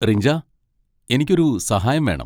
റിഞ്ച, എനിക്കൊരു സഹായം വേണം.